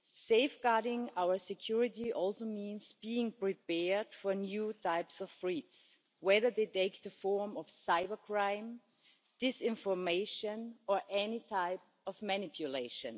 Safeguarding our security also means being prepared for new types of threats, whether they take to form of cybercrime, disinformation or any type of manipulation.